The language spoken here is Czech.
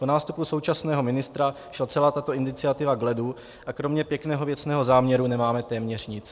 Po nástupu současného ministra šla celá tato iniciativa k ledu a kromě pěkného věcného záměru nemáme téměř nic.